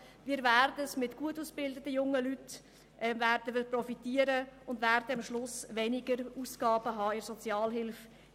Wir werden von gut ausgebildeten jungen Leuten profitieren und am Schluss weniger Ausgaben in der Sozialhilfe haben.